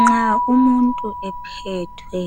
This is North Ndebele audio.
Nxa umuntu ephethwe